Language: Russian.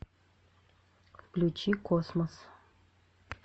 включи космос